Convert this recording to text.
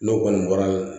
N'o kɔni bɔra